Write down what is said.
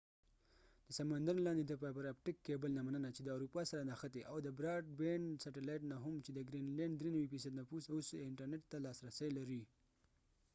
د سمندر لاندې د فایبر اپټک کېبلfiber optic cable نه مننه چې د اروپا سره نښتی او د براډبیند سیټلایت نه هم چې دګرین لینډ ٪93 نفوس اوس انټرنټ ته لاس رسی لري